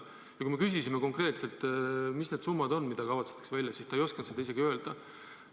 Ja kui me küsisime konkreetselt, mis need summad on, mis kavatsetakse välja maksta, siis ta ei osanud seda öelda.